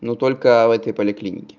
но только в этой поликлинике